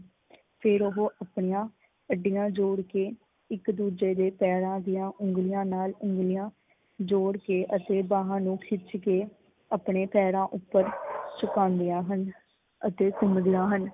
ਫੇਰ ਓਹ ਆਪਣੀਆਂ ਅੱਡੀਆਂ ਜੋੜ ਕੇ ਇੱਕ ਦੂਜੇ ਦੇ ਪੈਰਾਂ ਦੀਆਂ ਉਂਗਲੀਆਂ ਨਾਲ ਉਂਗਲੀਆਂ ਜੋੜ ਕੇ ਅਤੇ ਬਾਹਾਂ ਨੂੰ ਖਿੱਚ ਕੇ ਆਪਣੇ ਪੈਰਾਂ ਉੱਪਰ ਛੁਪਾਉਦੀਆਂ ਹਨ ਅਤੇ ਘੁਮੰਦੀਆਂ ਹਨ